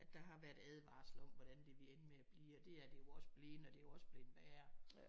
At der har været advarsler om hvordan det ville ende med at blive og det er det jo også bleven og det er jo også bleven værre